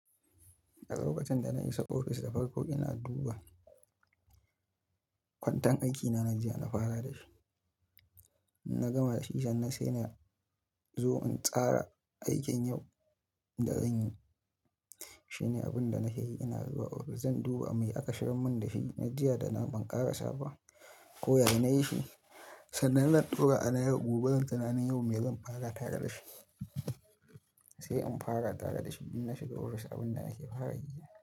A lokacin da na isa ofis da farko ina duba kwanten aiki na na jiya na fara da shi. Na gama da shi sannan sai na zo in tsara aikin yau da zan yi. Shine abin da na ke yi, ina zuwa ofis zan duba me aka shigar mun da shi na jiya da na ban ƙarsa ba ko ya ne na yi shi, sannan na ɗaura a layin gobe zan tsana yin me zan fara tara da shi. Sai in fara tara da shi ina shiga ofis abin da nake fara yi.